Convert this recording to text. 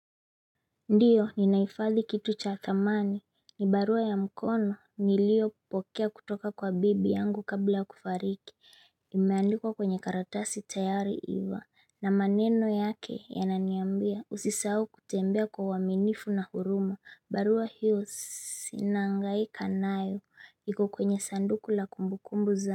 Ndiyo ninai fadhi kitu cha thamani ni barua ya mkono nilio pokea kutoka kwa bibi yangu kabla kufariki imeandikwa kwenye karatasi tayari iva na maneno yake ya naniambia usisau kutembea kwa waminifu na hurumu barua hiyo sinangaikanayo ikukwenye sanduku la kumbukumbu za.